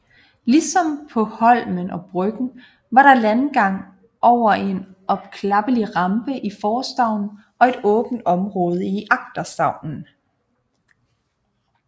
Ligesom på Holmen og Bryggen var der landgang over en opklappelig rampe i forstavnen og et åbent område i agterstavnen